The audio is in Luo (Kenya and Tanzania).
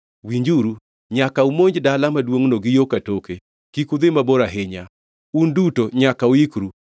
“Winjuru. Nyaka umonj dala maduongʼno gi yo katoke. Kik udhi mabor ahinya. Un duto nyaka uikru.